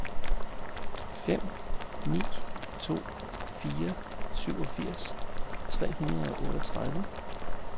fem ni to fire syvogfirs tre hundrede og otteogtredive